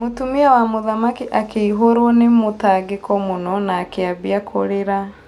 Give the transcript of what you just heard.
Mũtumia wa mũthamaki akĩihũrwũ nĩ mũtangĩko mũno nĩ akĩambia kũrĩra.